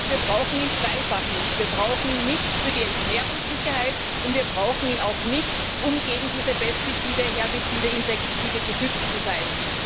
Das heißt, wir brauchen ihn zweifach nicht Wir brauchen ihn nicht für die Ernährungssicherheit, und wir brauchen ihn auch nicht, um gegen diese Pestizide, Herbizide und Insektizide geschützt zu sein.